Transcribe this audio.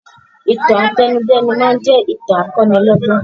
Ìtàn àtẹnudẹ́nu máa ń jẹ ìtàn akọ́nilọ́gbọ́n